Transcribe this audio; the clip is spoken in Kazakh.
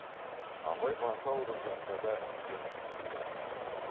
абай басы ауырып жатса да еріксіз күліп жіберді